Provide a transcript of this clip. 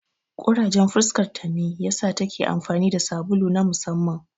Ƙurajen fuskarta ne ya sa ta ke amfani da sabulu na musamman.